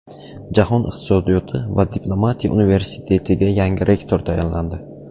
Jahon iqtisodiyoti va diplomatiya universitetiga yangi rektor tayinlandi .